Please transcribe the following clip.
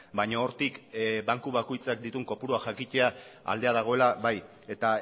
baina hortik banku bakoitzak dituen kopurua jakitea aldea dagoela bai eta